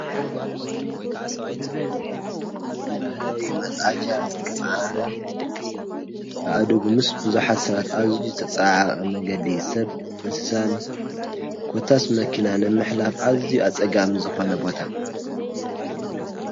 ባህላዊ መፅዓኛ ዝተፅዓና ኣእዱግ ምስ ቡዙሓት ሰባት ኣዝዩ ዝተፀዓዓቀ መንገዲ ሰብ ፣እንስሳት ኮታስ መኪና ንምሕላፍ ኣዝዩ ኣፀጋሚ ዝኮነ ቦታ።